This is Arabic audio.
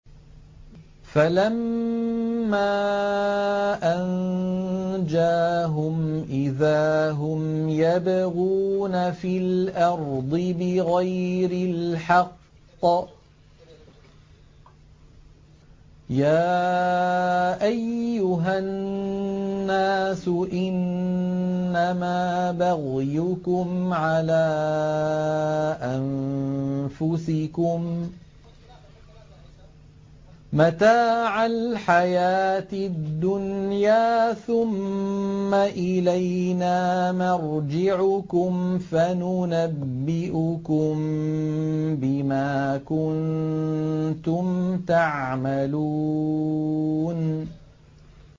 فَلَمَّا أَنجَاهُمْ إِذَا هُمْ يَبْغُونَ فِي الْأَرْضِ بِغَيْرِ الْحَقِّ ۗ يَا أَيُّهَا النَّاسُ إِنَّمَا بَغْيُكُمْ عَلَىٰ أَنفُسِكُم ۖ مَّتَاعَ الْحَيَاةِ الدُّنْيَا ۖ ثُمَّ إِلَيْنَا مَرْجِعُكُمْ فَنُنَبِّئُكُم بِمَا كُنتُمْ تَعْمَلُونَ